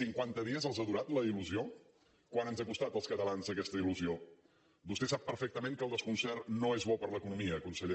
cinquanta dies els ha durat la il·lusió quant ens ha costat als catalans aquesta il·lusió vostè sap perfectament que el desconcert no és bo per a l’economia conseller